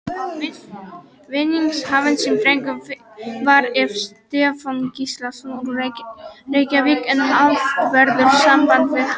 Vinningshafinn sem dreginn var er Stefán Gíslason, úr Reykjavík en haft verður samband við hann.